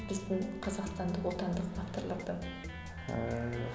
біздің қазақстандық отандық авторлардан ыыы